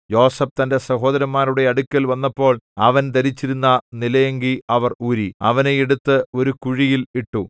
യോസേഫ് തന്റെ സഹോദരന്മാരുടെ അടുക്കൽ വന്നപ്പോൾ അവൻ ധരിച്ചിരുന്ന നിലയങ്കി അവർ ഊരി അവനെ എടുത്ത് ഒരു കുഴിയിൽ ഇട്ടു